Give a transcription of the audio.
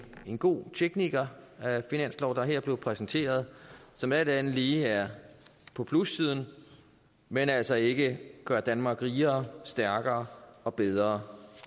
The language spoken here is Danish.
en god teknikerfinanslov der her er blevet præsenteret og som alt andet lige er på plussiden men altså ikke gør danmark rigere stærkere og bedre